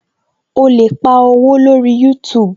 O lè pa owó lórí youtube